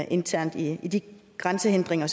internt i i de grænsehindringer